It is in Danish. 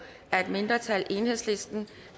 af et mindretal